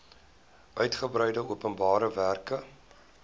uitgebreide openbare werke